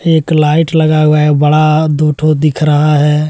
एक लाइट लगा हुआ है। बड़ा दुठो हो दिख रहा है।